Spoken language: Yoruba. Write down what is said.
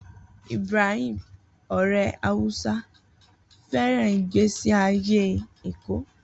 Ibrahim, ọ̀rẹ́ Hausa, fẹ́ràn ìgbésí ayé Èkó.